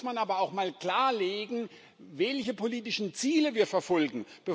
Dafür muss man aber auch mal klarlegen, welche politischen Ziele wir verfolgen.